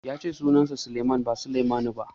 Ya ce sunansa Sulaiman ba Salmanu ba.